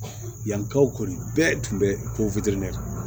Yankaw kɔni bɛɛ tun bɛ ponfɛrɛn kan